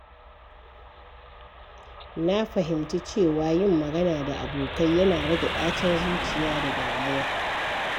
Na fahimci cewa yin magana da abokai yana rage ɗacin zuciya da damuwa.